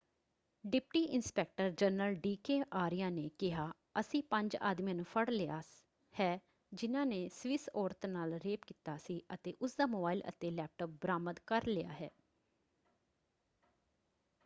Deputy inspector general D K Arya ਨੇ ਕਿਹਾ ਅਸੀਂ ਪੰਜ ਆਦਮੀਆਂ ਨੂੰ ਫੜ੍ਹ ਲਿਆ ਹੈ ਜਿਨ੍ਹਾਂ ਨੇ ਸਵਿਸ ਔਰਤ ਨਾਲ ਰੇਪ ਕੀਤਾ ਸੀ ਅਤੇ ਉਸਦਾ ਮੋਬਾਇਲ ਅਤੇ ਲੈਪਟੋਪ ਬਰਾਮਦ ਕਰ ਲਿਆ ਹੈ।